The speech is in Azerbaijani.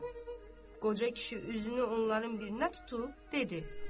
Qoca kişi üzünü onların birinə tutub dedi: